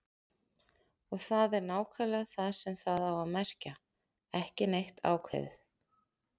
Og það er nákvæmlega það sem það á að merkja: ekki neitt ákveðið.